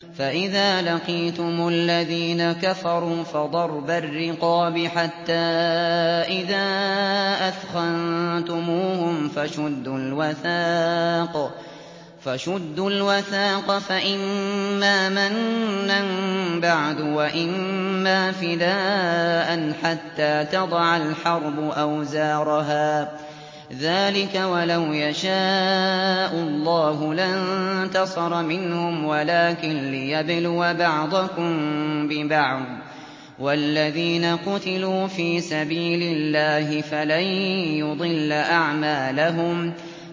فَإِذَا لَقِيتُمُ الَّذِينَ كَفَرُوا فَضَرْبَ الرِّقَابِ حَتَّىٰ إِذَا أَثْخَنتُمُوهُمْ فَشُدُّوا الْوَثَاقَ فَإِمَّا مَنًّا بَعْدُ وَإِمَّا فِدَاءً حَتَّىٰ تَضَعَ الْحَرْبُ أَوْزَارَهَا ۚ ذَٰلِكَ وَلَوْ يَشَاءُ اللَّهُ لَانتَصَرَ مِنْهُمْ وَلَٰكِن لِّيَبْلُوَ بَعْضَكُم بِبَعْضٍ ۗ وَالَّذِينَ قُتِلُوا فِي سَبِيلِ اللَّهِ فَلَن يُضِلَّ أَعْمَالَهُمْ